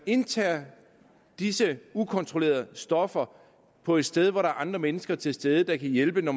indtager disse ukontrollerede stoffer på et sted hvor der er andre mennesker til stede der kan hjælpe når